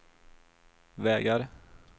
vägar